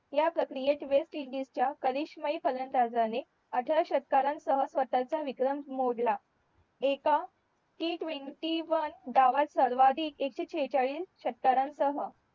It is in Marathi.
ह्या प्रक्रियेत वेस्ट इंडिस च्या करिशमई फलंदाजाणे अठरा षट्कारण सह स्वतःचा विक्रम मोडला एका T ट्वेंटी वन धावत सर्वाधिक एक शे सेहेचाळीस षट्कारण सह